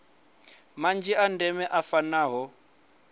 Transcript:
manzhi a ndeme a fanaho